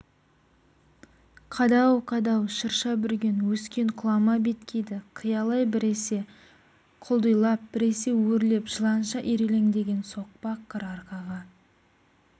қадау-қадау шырша бүрген өскен құлама беткейді қиялай біресе құлдилап біресе өрлеп жыланша ирелеңдеген соқпақ қыр арқаға